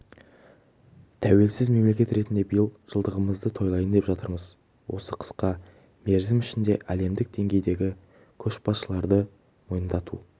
тәуелсіз мемлекет ретінде биыл жылдығымызды тойлайын деп жатырмыз осы қысқа мерзім ішінде әлемдік деңгейдегі көшбасшыларды мойындату